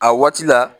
A waati la